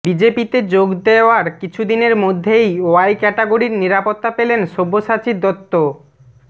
বিজেপিতে যোগ দেওয়ার কিছুদিনের মধ্যেই ওয়াই ক্যাটাগরির নিরাপত্তা পেলেন সব্যসাচী দত্ত